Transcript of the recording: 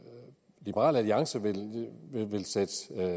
liberal alliance vil sætte